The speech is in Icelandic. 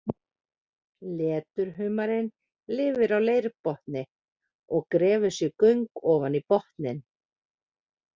Leturhumarinn lifir á leirbotni og grefur sér göng ofan í botninn.